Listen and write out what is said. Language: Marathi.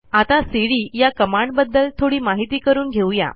आता सीडी या कमांडबद्दल थोडी माहिती करून घेऊ या